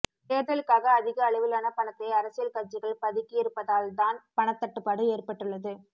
தேர்தலுக்காக அதிக அளவிலான பணத்தை அரசியல் கட்சிகள் பதுக்கியிருப்பதால்தான் பணத்தட்டுப்பாடு ஏற்பட்டுள்ளது